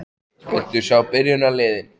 Viltu sjá byrjunarliðin?